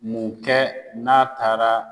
Mun kɛ n'a taara